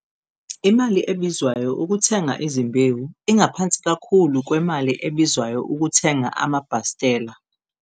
Imali ebizwayo ukuthenga izimbewu ingaphansi kakhulu kwemali ebizwayo ukuthenga amabhastela.